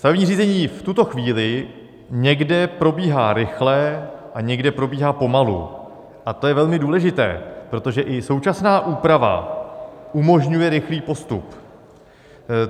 Stavební řízení v tuto chvíli někde probíhá rychle a někde probíhá pomalu, a to je velmi důležité, protože i současná úprava umožňuje rychlý postup.